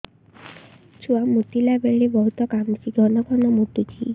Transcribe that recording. ଛୁଆ ମୁତିଲା ବେଳେ ବହୁତ କାନ୍ଦୁଛି ଘନ ଘନ ମୁତୁଛି